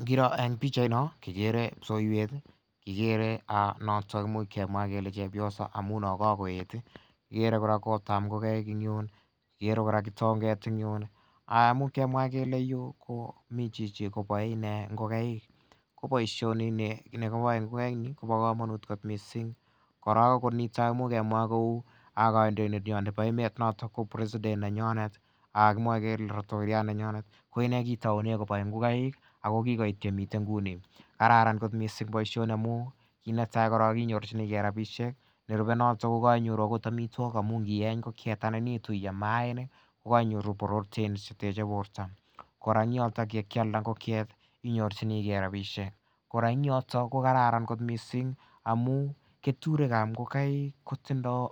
Ngiroo en pichait non kikere kipsoiwet kikere noton imuch kemwaa kele chepyosa amu kakoeet ih kikere kora korap ngokaik en yuun kikere kora kitonget en yun much kemwaa kele en yuu komii chichi koboe inee ngokaik koboisioni nikiboe ngokaik kobo komonut kot missing kora niton ngemwaa kou kandoindet nyon nebo emet noton ko president nenyonet kimwoe kele laitoriat nenyonet ko inee kitou koboe ngokaik ako kikoit yemii nguni kararan boisioni amu kit netaa korong inyorchigee rapisiek nerube noton kokoinyoru amitwogik amun nieny ngokiet anan iam maaniik ko keinyoru proteins cheteche borto kora en yoton yekialda ngokiet inyorchigee rapisiek kora en yoton ko kararan missing amun keturik ab ngokaik kotindoo